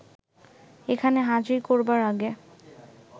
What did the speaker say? এখানে হাজির করবার আগে